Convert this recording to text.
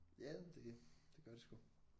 Ja det det gør det sgu